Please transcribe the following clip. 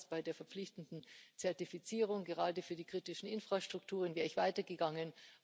Ich teile diese Ansicht. Bei der verpflichtenden Zertifizierung, gerade für die kritischen Infrastrukturen, wäre ich weitergegangen.